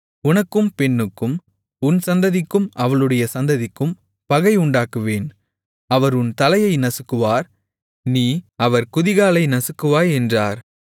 உனக்கும் பெண்ணுக்கும் உன் சந்ததிக்கும் அவளுடைய சந்ததிக்கும் பகை உண்டாக்குவேன் அவர் உன் தலையை நசுக்குவார் நீ அவர் குதிகாலை நசுக்குவாய் என்றார்